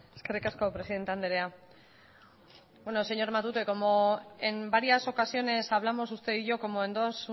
eskerrik asko presidente anderea bueno señor matute como en varias ocasiones hablamos usted y yo como en dos